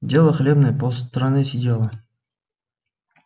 дело хлебное пол страны сидело